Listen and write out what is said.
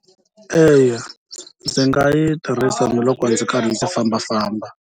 Eya ndzi nga yi tirhisa na loko ndzi karhi ndzi fambafamba.